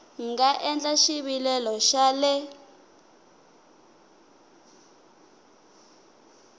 nga endla xivilelo xa le